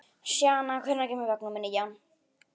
Sjana, hvenær kemur vagn númer nítján?